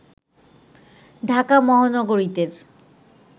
Dhaka মহানগরীতের